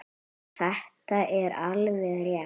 Þetta er alveg rétt.